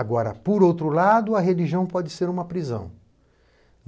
Agora, por outro lado, a religião pode ser uma prisão.